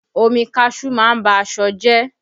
Omi kaṣuú má ń ba aṣọ jẹ